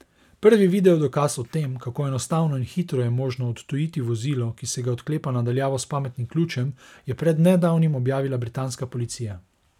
Prvi video dokaz, o tem, kako enostavno in hitro je možno odtujiti vozilo, ki se ga odklepa na daljavo s pametnim ključem, je pred nedavnim objavila britanska policija.